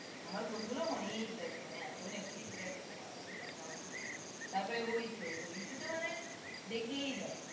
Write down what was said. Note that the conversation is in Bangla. আমার বন্ধুরা অনেক দেখে মানে এতো Netflix দেখেনা বাবারে বাবা তারপরে Hoichoi টা মানে দেখেই যাই